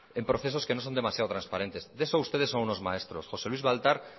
en procesos que no son demasiados transparentes de eso ustedes son unos maestros josé luis baltar